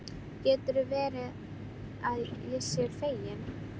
Getur verið að ég sé feginn?